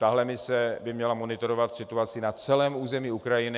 Tahle mise by měla monitorovat situaci na celém území Ukrajiny.